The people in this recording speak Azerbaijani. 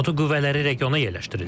NATO qüvvələri regiona yerləşdirilir.